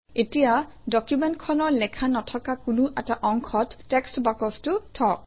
এতিয়া ডকুমেণ্টখনৰ লেখা নথকা কোনো এটা অংশত টেক্সট বাকচটো থওক